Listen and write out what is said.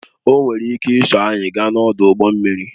O nwere ike iso anyị gaa n'ọdụ ụgbọ mmiri